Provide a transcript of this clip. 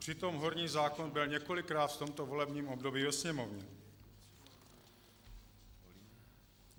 Přitom horní zákon byl několikrát v tomto volebním období ve Sněmovně.